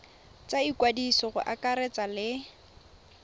tsa ikwadiso go akaretsa le